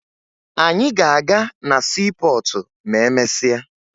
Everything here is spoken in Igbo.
Anyị ga-aga na siipọọtụ ma emesịa